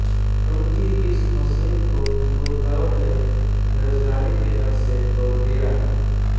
उनकी इस मषीन को बुनकरों ने बेरोजगारी के डर से तोड़ दिया